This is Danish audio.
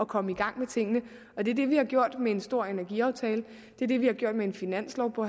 komme i gang med tingene det er det vi har gjort med en stor energiaftale det er det vi har gjort med en finanslov på